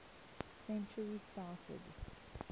century started